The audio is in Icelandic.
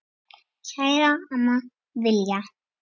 Kæra amma Villa.